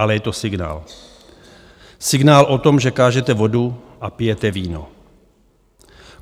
Ale je to signál, signál o tom, že kážete vodu a pijete víno.